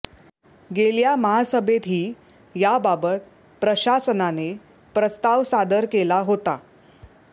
गेल्या महासभेतही याबाबत प्रशासनाने प्रस्ताव सादर केला होता